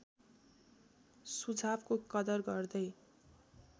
सुझावको कदर गर्दै